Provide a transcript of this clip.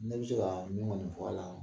Ne bɛ se kɔni fɔ a la